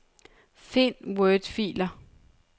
Find wordfiler.